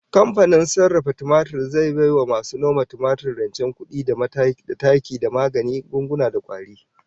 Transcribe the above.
Kamfanin sarrafa tumatir zai bai wa masu noma tumatir rancen kudi da taki da magungunan kwari